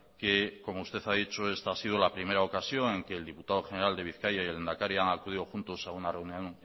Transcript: que como usted ha dicho esta ha sido la primera ocasión en que el diputado general de bizkaia y el lehendakari han acudido juntos a una reunión